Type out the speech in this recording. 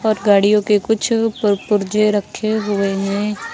और गाड़ियों के कुछ पर पुर्जे रखे हुए हैं